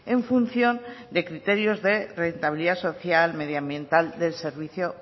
en función de criterios de rentabilidad social medioambiental del servicio